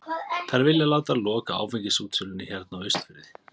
Þær vilja láta loka áfengisútsölunni hérna á Austurfirði!